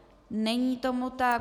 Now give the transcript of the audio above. Není tomu tak.